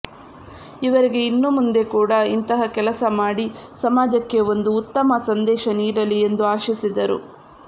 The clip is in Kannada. ಇವರಿಗೆ ಇನ್ನೂ ಮುಂದೆ ಕೂಡ ಇಂತಹ ಕೆಲಸ ಮಾಡಿ ಸಮಾಜಕ್ಕೆ ಒಂದು ಉತ್ತಮ ಸಂದೇಶ ನೀಡಲಿ ಎಂದು ಆಶಿಸಿದರು